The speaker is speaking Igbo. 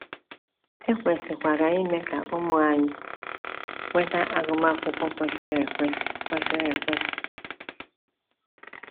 E kwesịkwara ime ka ụmụ anyị nweta agụmakwụkwọ kwesịrị ekwesị. kwesịrị ekwesị.